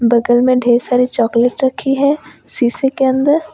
बगल में ढेर सारी चॉकलेट रखी है शीशे के अंदर।